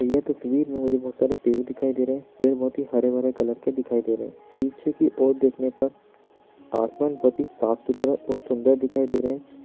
ये तस्वीर में मुझे बहुत सारे पेड़ दिखाई दे रहे है पेड़ बहुत ही हरे -भरे कलर के दिखाई दे रहे है पीछे की ओर देखने पर आसमान बहुत ही साफ- सुथरा और सुन्दर दिखाई दे रहे हैं।